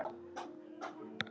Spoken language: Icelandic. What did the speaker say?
Garðinn sinn ræktaði hún vel.